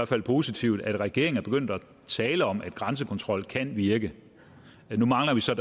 fald positivt at regeringen er begyndt at tale om at grænsekontrol kan virke nu mangler vi så